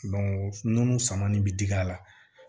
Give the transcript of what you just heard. nun sama nin bɛ digi a la